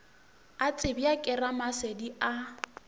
a tsebja ke ramasedi a